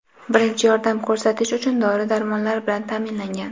birinchi yordam ko‘rsatish uchun dori-darmonlar bilan ta’minlangan.